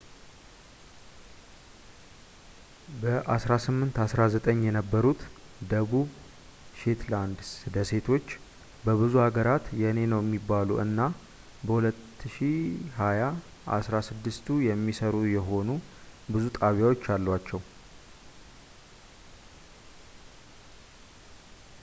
በ1819 የተገኙት ደቡብ ሼትላንድ ደሴቶች በብዙ ሀገራት የኔ ነው የሚባሉ እና በ2020 አስራ ስድስቱ የሚሰሩ የሆኑ ብዙ ጣቢያዎች አሏቸው